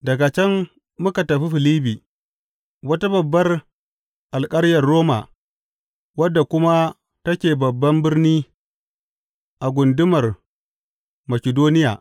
Daga can muka tafi Filibbi, wata babbar alkaryar Roma wadda kuma take babban birni a gundumar Makidoniya.